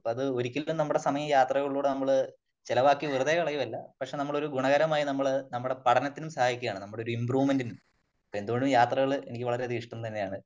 അപ്പോ അത് ഒരിക്കലും നമ്മുടെ സമയം യാത്രകളിലൂടെ നമ്മൾ ചെലവാക്കി വെറുതെ കളയുകയല്ല. പക്ഷേ ഒരു ഗുണകരമായി നമ്മള് പഠനത്തിനും സഹായിക്കുകയാണ് , നമ്മുടെ ഒരു ഇംപ്രൂവ്മെന്റിനും എന്തു കൊണ്ടും യാത്രകള് എനിക്ക് വളരെ അധികം ഇഷ്ടം തന്നെ ആണ് .